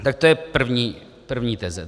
Tak to je první teze.